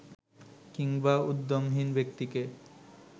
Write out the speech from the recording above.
কিংবা উদ্যমহীন ব্যক্তিকে